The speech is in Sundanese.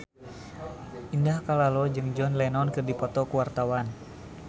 Indah Kalalo jeung John Lennon keur dipoto ku wartawan